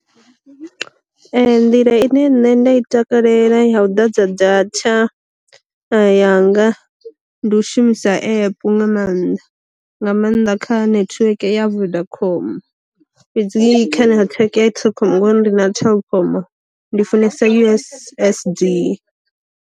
Nḓila ine nṋe nda i takalela ya u ḓadza data yanga ndi u shumisa app nga maanḓa, nga maanḓa kha network ya vodacom, fhedzi kha nethiweke ya telkom nga uri ndi na telkom, ndi funesa u_s_s_d.